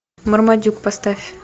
мармадюк поставь